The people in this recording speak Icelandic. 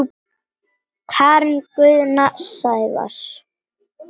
Karen Guðna og Sævars